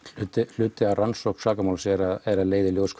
hluti af rannsókn sakamáls er að leiða í ljós